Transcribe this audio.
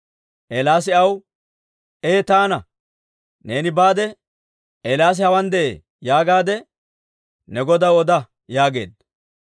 Eelaasi aw, «Ee taana. Neeni baade, ‹Eelaasi hawaan de'ee› yaagaadde ne godaw oda» yaageedda.